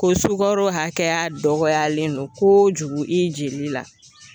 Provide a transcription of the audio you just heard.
Ko sukaro hakɛya dɔgɔyalen don kojugu i jeli la.